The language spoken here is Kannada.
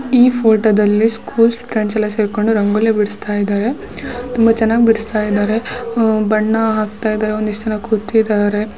ಈ ಫೋಟೋದಲ್ಲಿ ಸ್ಕೂಲ್ ಫ್ರೆಂಡ್ಸ್ ಎಲ್ಲಾ ಸೇರ್ಕೊಂಡು ರಂಗೋಲಿ ಬಿಡಿಸುತ್ತಾ ಇದ್ದಾರೆ ತುಂಬಾ ಚೆನ್ನಾಗಿ ಬಿಡಿಸುತ್ತಾ ಇದ್ದಾರೆ. ಬಣ್ಣ ಹಾಕ್ತಾ ಇದ್ದಾರೆ ಒಂದಿಷ್ಟು ಜನ ಕೂತಿದ್ದಾರೆ.